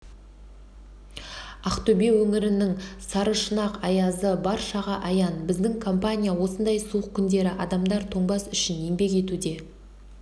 ақтөбе өңірінің сарышұнақ аязы баршаға аян біздің компания осындай суық күндері адамдар тоңбас үшін еңбек етуде